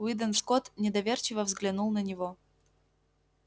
уидон скотт недоверчиво взглянул на него